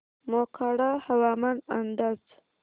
मोखाडा हवामान अंदाज